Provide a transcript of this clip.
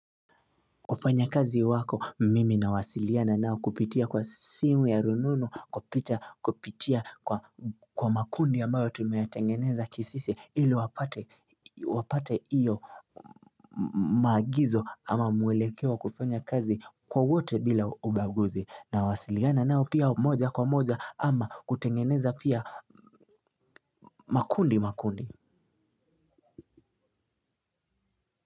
Wafanyakazi wako mimi nawasiliana nao kupitia kwa simu ya rununu kupitia kwa makundi ambayo tumetengeneza ki sisi wapate hiyo maagizo ama mwelekeo wa kufanya kazi kwa wote bila ubaguzi nawasiliana nao pia moja kwa moja ama kutengeneza pia makundi.